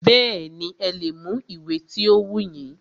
Bẹ́ẹ̀nì, ẹ lè mú ìwé ti o wù yín.